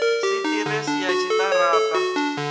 si ḓiresi ya tshiṱara ṱa